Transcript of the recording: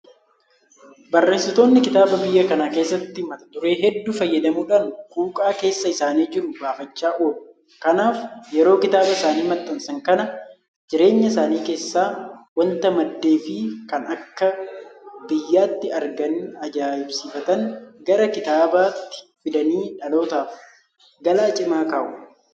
Barreessitoonni kitaabaa biyya kana keessatti mata duree hedduu fayyadamuudhaan quuqqaa keessa isaanii jiru baafachaa oolu. Kanaaf yeroo kitaaba isaanii maxxansan kana jireenya isaanii keessaa waanta maddeefi kan akka biyyaatti arganii ajaa'isiifatan gara kitaabaatti fidanii dhalootaaf galaa cimaa kaa'u.